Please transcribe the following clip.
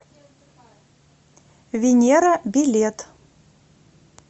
венера билет